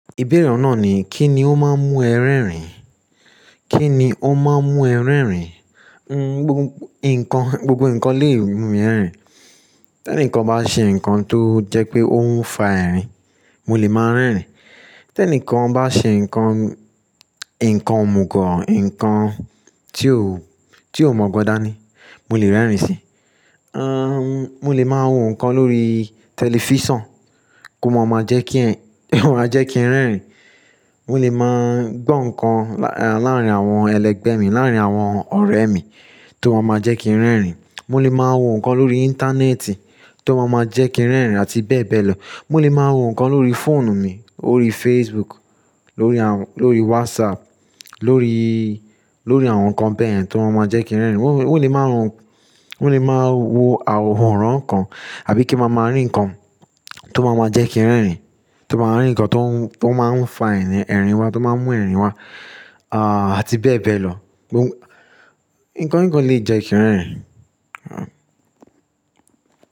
Ìbéèrè ọ̀un nàa ni, kí ni ó máa ń mú ẹ rẹ́rìn? Kí ni ó máa ń mú ẹ rẹ́rìn? Nnn, gbogbo nǹkan lè mú mi rẹ́rìn. Tẹ́ní kan bá ṣe nǹkan tó jẹ́ pé ó ń fa ẹ̀rín, mo lè máa rẹ́rìn. Tẹ́ní kan bá ṣe nǹkan, nǹkan òmùgọ̀, nǹkan tí ó, tí ó mọ̀ gbọn dá ní, mo lè rẹ́rìn si. N mọ lè máa wo nǹkan lórí tẹlifísàn kó máa máa jẹ́ kí, kó máa jẹ́ kí n rẹ́rìn. Mo lè máa gbọ́ nǹkan láàrín àwọn ẹlẹgbẹ́ mi, láàrín àwọn ọ̀rẹ́ mi tó máa máa jẹ́ kí n rẹ́rìn. Mo lè máa wo nǹkan lórí Íńtánẹ́ẹ̀tì tó máa máa jẹ́ kí n rẹ́rìn àti bẹ́ẹ̀bẹ́ẹ̀ lọ. Mo lè máa wo nǹkan lórí fóònù mi, órí Facebook, lórí àwọn, lórí WhatsApp, lórí, lórí àwọn nǹkan bẹ́yẹ̀n tó máa máa jẹ́ kí n rẹ́rìn. Mo lè máa wo, mo lè máa wo àwòrán nǹkan àbí kí ń máa máa rí nǹkan tó máa máa jẹ́ kí n rẹ́rìn, tó máa máa rí nǹkan tó ń, tó máa ń fa ẹ̀rìn, ẹ̀rìn wa, tó máa ń mú ẹ̀rìn wá, à tí bẹ́ẹ̀ bẹ́ẹ̀ lọ. Nǹkan, nǹkan lè jẹ́ kí n rẹ́rìn.